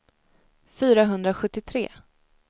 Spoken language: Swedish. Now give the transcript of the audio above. fyrahundrasjuttiotre